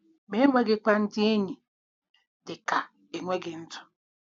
Ma enweghịkwa ndị enyi dị ka enweghị ndụ.